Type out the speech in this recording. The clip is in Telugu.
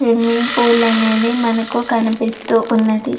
స్విమ్మింగ్ పూల్ అనేది మనకు కనిపిస్తూ ఉంది.